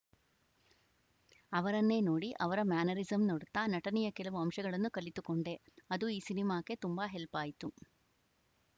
ಅವರನ್ನೇ ನೋಡಿ ಅವರ ಮ್ಯಾನರಿಸಂ ನೋಡುತ್ತಾ ನಟನೆಯ ಕೆಲವು ಅಂಶಗಳನ್ನು ಕಲಿತುಕೊಂಡೆ ಅದು ಈ ಸಿನಿಮಾಕ್ಕೆ ತುಂಬಾ ಹೆಲ್ಪ್‌ ಆಯ್ತು